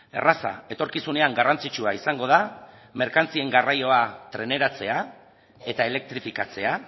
erraza etorkizunean garrantzitsua izango da merkantzien garraioa treneratzea eta elektrifikatzea